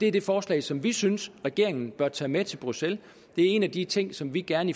er det forslag som vi synes regeringen bør tage med til bruxelles det er en af de ting som vi gerne